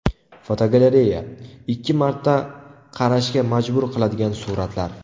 Fotogalereya: Ikki marta qarashga majbur qiladigan suratlar.